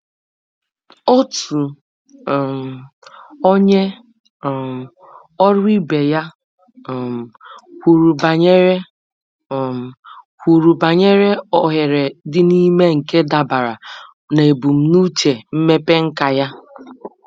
Otu um onye um ọrụ ibe ya um kwuru banyere um kwuru banyere ohere dị n’ime nke dabara na ebumnuche mmepe nka ya.